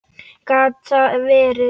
Gat það verið.?